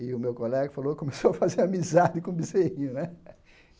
E o meu colega falou, começou a fazer amizade com o bezerrinho, né?